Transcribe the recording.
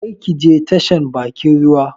Kar ki je tashan bakin ruwa